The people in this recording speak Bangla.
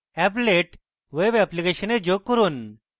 applet web অ্যাপ্লিকেশনে যোগ করুন